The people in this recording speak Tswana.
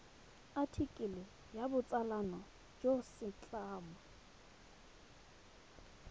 athikele ya botsalano jwa setlamo